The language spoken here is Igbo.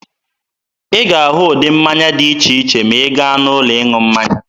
Ị ga-ahụ ụdị mmanya dị iche iche ma ị gaa n'ụlọ ịṅụ mmanya.